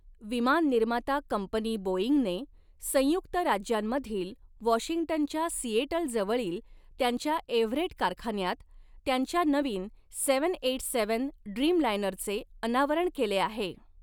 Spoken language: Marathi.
विमान निर्माता कंपनी बोईंगने, संयुक्त राज्यांमधील वॉशिंग्टनच्या सिएटलजवळील त्यांच्या एव्हरेट कारखान्यात, त्यांच्या नवीन आठशे सत्त्याऐंशी ड्रीमलाइनरचे अनावरण केले आहे.